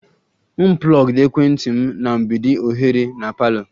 M plugged ekwentị m na mgbidi oghere na parlour